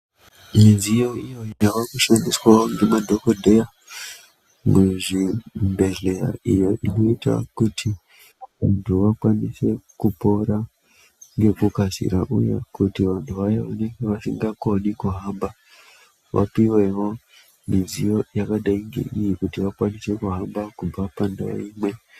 Midziyo iyo yaakushandiswawo ngemadhokodheya muzvibhedhlera, iyo inoita kuti vantu vakwanise kupora ngekukasira, uye kuti vantu vaya vanenge vasingakoni kuhamba vapiwewo mudziyo yakadai ngeiyo, kuti vakwanise kuhamba, kubva pandau imwe